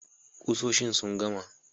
Kusoshin sun gama.